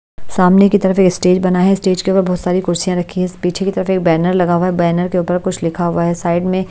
सामने की तरफ एक स्टेज बना है स्टेज के ऊपर बहुत सारी कुर्सियां रखी हैं पीछे की तरफ एक बैनर लगा हुआ है बैनर के ऊपर कुछ लिखा हुआ है साइड में--